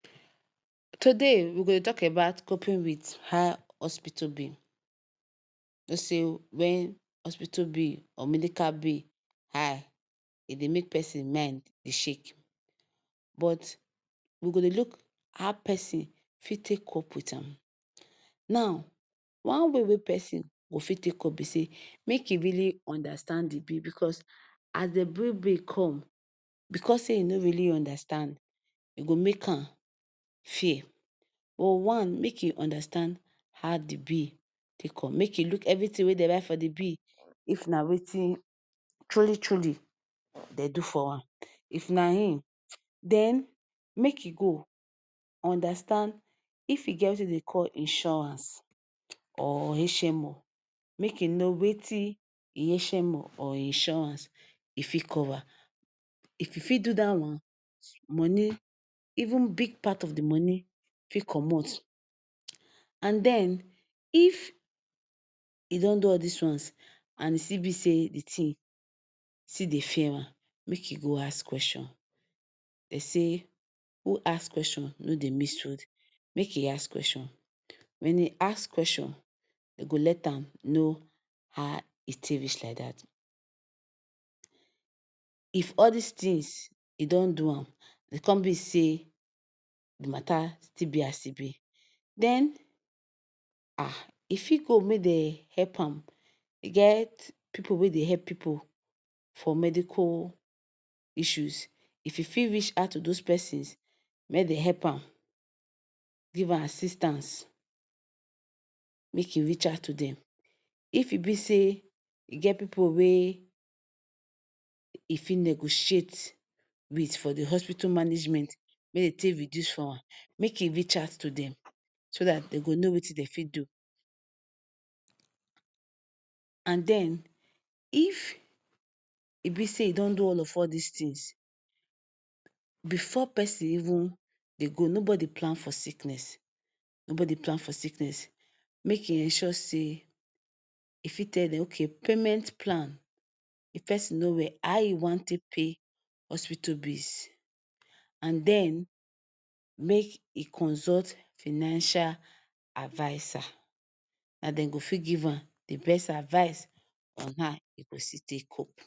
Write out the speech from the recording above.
Today we go dey tok about coping wit high hospital bill. You know say wen hospital bill or medical bill high, e dey make pesin mind dey shake but we go dey look how pesin fit cope wit am. Now one way wey pesin go fit take cope be say, make im really understand di bill bicos as dem bring bill come, bicos say you no really understand, e go make am fear. One, make im understand how di bill take come. Make e look evritin wey dey write for di bill if na wetin truly truly dem do for am. If na him, den make you go understand if you get wetin dem dey call insurance or HMO. Make im know wetin im HMO or insurance fit cover. If you fit do dat one, money even big part of di money fit comot. And den if e don do all dis ones and e still be say di tins still dey fear am, make im go ask questions. Dem say wey ask question no dey miss road. Make im ask questions. Wen you ask questions, dem go let am know how di tin take reach like dat. If all dis tins you don do am, e come be say di matta still wear as e be, den e fit go make dem help am. E get pipu wey dey help pipu for medical issues. If e fit reach out to dose pipu, make dem help am, give am assistance, make e reach out to dem. If e bi say e get pipu wey e fit negotiate wit for di hospital management, make dem take reduce for am, make im reach out to dem so dat dem go know wetin dem fit do. And den if e be say you don do all of dis tins, bifor pesin even dey go nobody plan for sickness nobody plan for sickness, make[um]show say e fit tell dem say okay, payment plan. If pesin no well, how e wan take pay hospital bills? And den make e consult financial adviser. Na dem go fit give am di best advice how e go still cope.